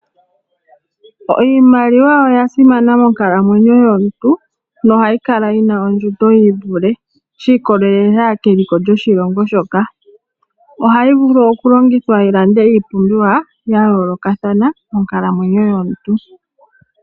Iimaliwa oya simana monkalamwenyo yomuntu nohayi kala yina ondjundo yiivule shi ikolelela keliko lyoshilongo shoka. Ohayi vulu okulongithwa yi lande iipumbiwa ya yoolokathana monkalamwenyo yomuntu.